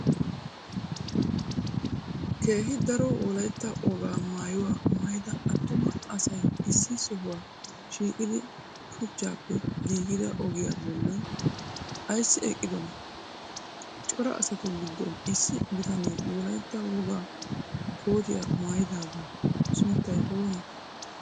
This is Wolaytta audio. keehi daro wolaytta woga maayuwa maayida attuma asay issi sohuwa shiqqidi shuchchappe giggida ogiya bollan aysi eqqidona? cora asatu giddon issi bitanne wolaytta woga kotiya maayidagaa sunttay oone?